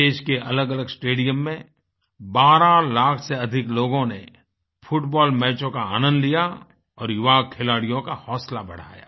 देश के अलगअलग स्टेडियम में 12 लाख से अधिक लोगों ने फुटबॉल मैचों का आनंद लिया और युवा खिलाड़ियों का हौसला बढ़ाया